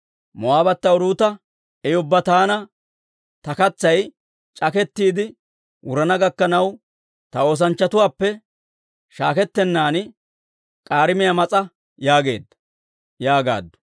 Moo'aabbata Uruuta, «I ubbaa taana, Ta katsay c'akettiide wurana gakkanaw, ta oosanchchatuwaappe shaakettennan k'aarimiyaa mas'a yaageedda» yaagaaddu.